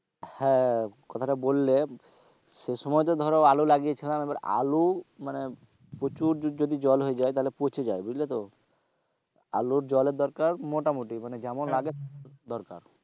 হ্যাঁ কথাটা বললে সেই সময় তো ধরো আলু লাগিয়ে ছিলাম, এবার আলু মানে প্রচুর যদি জল হয়ে যায় তাহলে পচে যায় বুঝলে তো আলুর জলের দরকার মোটামুটি মানে যেমন লাগে দরকার।